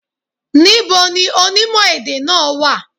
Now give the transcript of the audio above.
Ní bo ni onímò èdè náà wà?